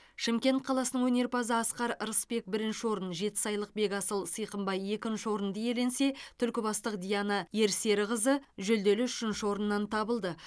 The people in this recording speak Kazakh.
шымкент қаласының өнерпазы асқар рысбек бірінші орын жетісайлық бекасыл сыйқымбай екінші орынды иеленсе түлкібастық диана ерсеріқызы жүлделі үшінші орыннан табылды